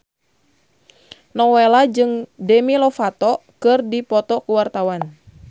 Nowela jeung Demi Lovato keur dipoto ku wartawan